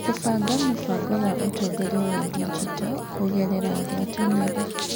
Kũbanga mũbango wa ũtongoria wa digito kũgerera ngwatanĩro.